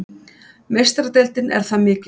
Meistaradeildin er það mikilvæg